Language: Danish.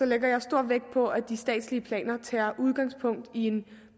lægger jeg stor vægt på at de statslige planer tager udgangspunkt i en